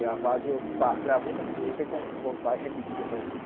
Gravado. Gravou, só que não tem como voltar e repetir a pergunta.